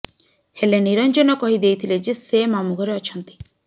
ହେଲେ ନିରଂଜନ କହି ଦେଇଥିଲେ ଯେ ସେ ମାମୁଁ ଘରେ ଅଛନ୍ତି